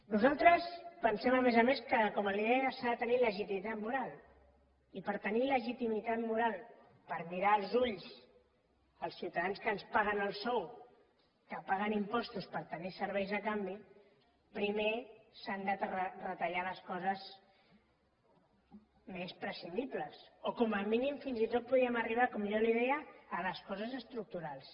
nosaltres pensem a més a més que com ara li deia s’ha de tenir legitimitat moral i per tenir legitimitat moral per mirar als ulls els ciutadans que ens paguen el sou que paguen impostos per tenir serveis a canvi primer s’han de retallar les coses més prescindibles o com a mínim fins i tot podríem arribar com jo li deia a les coses estructurals